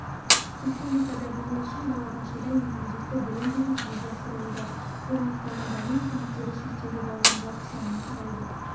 республикада бала үшін балабақшада инклюзивті білім беру жүзеге асырылуда бұл анықталған даму мүмкіндіктері шектеулі балалардың жалпы санының құрайды